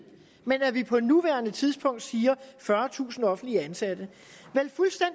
men at vi på nuværende tidspunkt siger fyrretusind offentligt ansatte